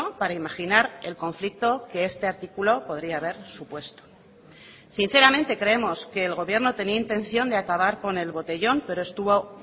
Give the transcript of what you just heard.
para imaginar el conflicto que este artículo podría haber supuesto sinceramente creemos que el gobierno tenía intención de acabar con el botellón pero estuvo